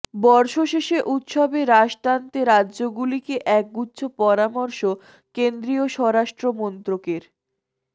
বর্ষশেষে উৎসবে রাশ টানতে রাজ্যগুলিকে একগুচ্ছ পরামর্শ কেন্দ্রীয় স্বরাষ্ট্র মন্ত্রকের